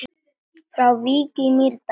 Frá Vík í Mýrdal